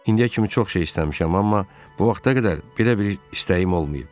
İndiyə kimi çox şey istəmişəm, amma bu vaxta qədər belə bir istəyim olmayıb.